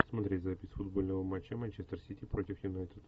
смотреть запись футбольного матча манчестер сити против юнайтед